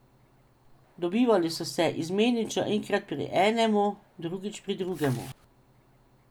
Dobivali so se izmenično enkrat pri enemu, drugič pri drugemu.